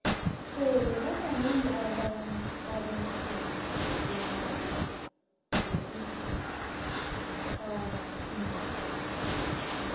sele babanengi abantu abenza izinto zokukara abavaktjhi